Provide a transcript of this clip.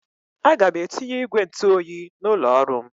Aga m etinye ígwè ntụoyi n'ụlọ ọrụ m.